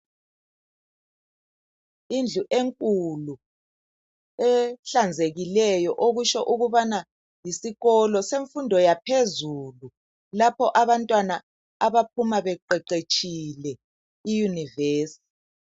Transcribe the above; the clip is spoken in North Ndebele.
Indlu enkulu ehlanzekileyo okutsho ukubana yisikolo semfundo yaphezulu lapho abantwana abaphuma beqeqetshile iyunivesi.